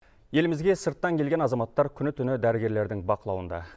елімізге сырттан келген азаматтар күні түні дәрігерлердің бақылауында